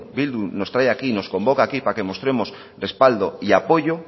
bildu nos trae aquí y nos convoca aquí para que mostremos respaldo y apoyo